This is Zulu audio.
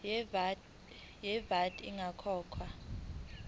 ye vat ingakakhokhwa